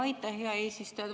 Aitäh, hea eesistuja!